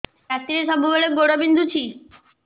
ରାତିରେ ସବୁବେଳେ ଗୋଡ ବିନ୍ଧୁଛି